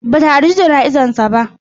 Ba ta halarci jana'izar sa ba.